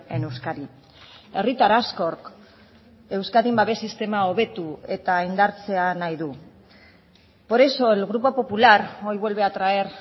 en euskadi herritar askok euskadin babes sistema hobetu eta indartzea nahi du por eso el grupo popular hoy vuelve a traer